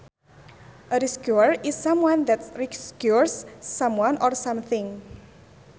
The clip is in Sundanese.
A rescuer is someone that rescues someone or something